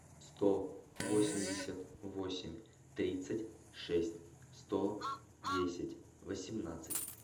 сто восемьдесят восемь тридцать шесть сто десять восемнадцать